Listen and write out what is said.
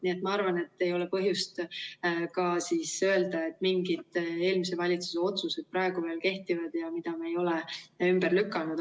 Nii et ma arvan, et ei ole põhjust ka öelda, et mingid eelmise valitsuse otsused praegu veel kehtivad, mida me ei ole ümber lükanud.